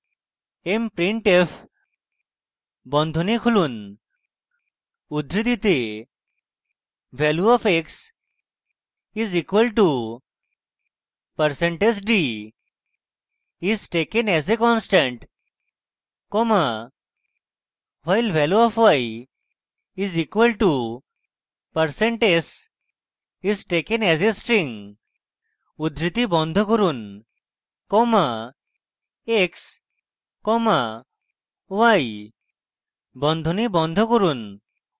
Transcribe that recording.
mprintf বন্ধনী খুলুন উদ্ধৃতিতে value of x is equal to percent d is taken as a constant comma while value of y is equal to percent s is taken as a string উদ্ধৃতি বন্ধ করুন comma x comma y বন্ধনী বন্ধ করুন